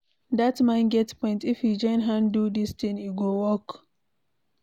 Dat man get point, if we join hand do dis thing, e go work.